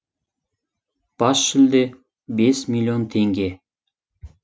бас жүлде бес миллион теңге